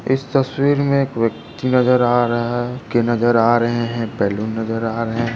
इस तस्वीर मे एक व्यक्ति नजर हा रहे है के नजर हा रहे है बलून नजर हा रहे है।